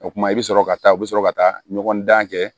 O kuma i bɛ sɔrɔ ka taa u bɛ sɔrɔ ka taa ɲɔgɔn dan kɛ